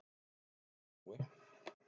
Afi Jói.